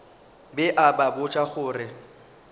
be a ba botša gore